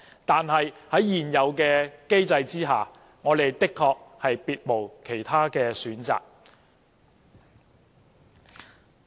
但是，在現有機制之下，我們的確別無選擇。